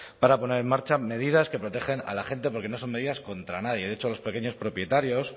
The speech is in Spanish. para poner en marcha medidas que protejan a la gente porque no son medidas contra nadie de hecho los pequeños propietarios